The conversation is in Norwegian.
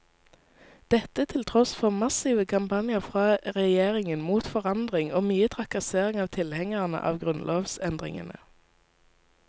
Dette til tross for massive kampanjer fra regjeringen mot forandring og mye trakassering av tilhengerne av grunnlovsendringene.